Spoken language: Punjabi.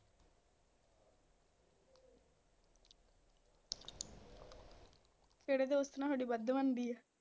ਕਿਹੜੇ ਦੋਸਤ ਨਾ ਥੋਡੀ ਵੱਧ ਬਣਦੀ ਆ